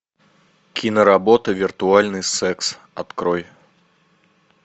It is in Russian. киноработа виртуальный секс открой